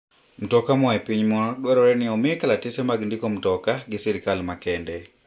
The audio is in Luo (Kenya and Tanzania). Mtoka moa e piny moro dwarore ni omii kalatese mag ndiko mtoka gi sirkal makende.